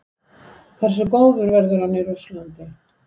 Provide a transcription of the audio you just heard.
Hversu góður verður hann í Rússlandi?